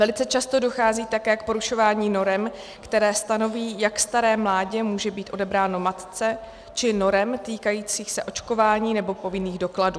Velice často dochází také k porušování norem, které stanoví, jak staré mládě může být odebráno matce, či norem týkajících se očkování nebo povinných dokladů.